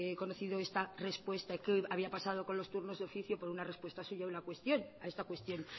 conocido esta respuesta que hoy había pasado con los turnos de oficio por una respuesta suya a una cuestión a esta cuestión